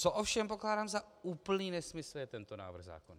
Co ovšem pokládám za úplný nesmysl, je tento návrh zákona.